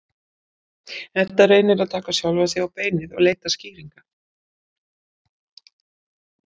Edda reynir að taka sjálfa sig á beinið og leita skýringa.